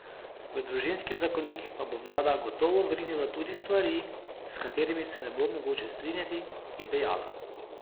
V družinski zakonik pa bo vlada gotovo vrinila tudi stvari, s katerimi se ne bo mogoče strinjati, je dejala.